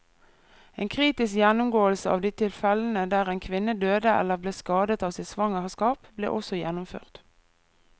En kritisk gjennomgåelse av de tilfellene der en kvinne døde eller ble skadet av sitt svangerskap, ble også gjennomført.